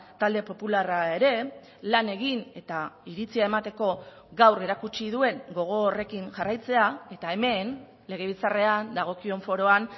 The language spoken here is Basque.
talde popularra ere lan egin eta iritzia emateko gaur erakutsi duen gogo horrekin jarraitzea eta hemen legebiltzarrean dagokion foroan